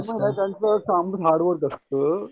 असतं.